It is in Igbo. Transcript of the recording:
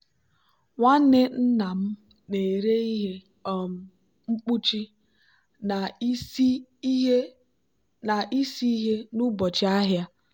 nwanne nna m na-ere ihe um mkpuchi na isi ihe n'ụbọchị ahịa.